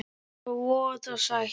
Og voða sætt.